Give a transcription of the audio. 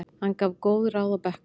Hann gaf góð ráð á bekknum.